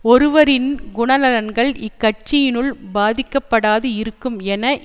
ஒருவரின் குண நலங்கள் இக்கட்சியினுள் பாதிக்கப்படாது இருக்கும் என